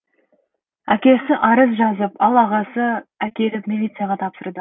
әкесі арыз жазып ал ағасы әкеліп милицияға тапсырады